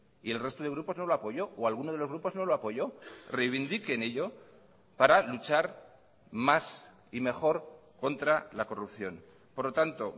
y el resto de grupos no lo apoyó o alguno de los grupos no lo apoyó reivindiquen ello para luchar más y mejor contra la corrupción por lo tanto